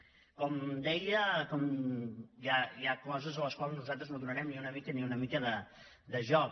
com deia hi ha coses a les quals nosaltres no donarem ni una mica ni una mica de joc